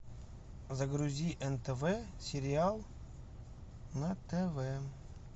загрузи нтв сериал на тв